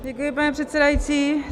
Děkuji, pane předsedající.